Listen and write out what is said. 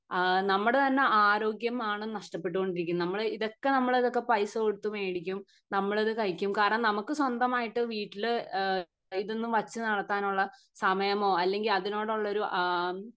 അഹ് നമ്മുടെ തന്നെ ആരോഗ്യം ആണ് നഷ്ടപ്പെട്ട് കൊണ്ടിരിക്കുന്നത് നമ്മൾ ഇതൊക്കെ നമ്മൾ ഇതൊക്കെ പൈസ കൊടുത്ത് മേടിക്കും നമ്മളിത് കഴിക്കും കാരണം നമുക്ക് സ്വന്തമായിട്ട് വീട്ടില് ഈഹ് ഇതൊന്നും വച്ച് നടത്താൻ ഉള്ള സമയമോ അല്ലങ്കി അതിനോടുള്ള ഒരു ആഹ്മ്